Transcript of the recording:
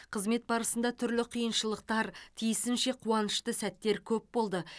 қызмет барысында түрлі қиыншылықтар тиісінше қуанышты сәттер көп болды